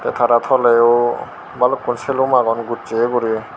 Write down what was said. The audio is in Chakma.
tey tara toleyo balukun silum agon gosseye guri.